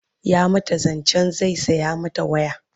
ya mata zancen zai saya mata waya